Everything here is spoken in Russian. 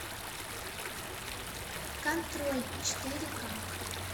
контроль четыре ка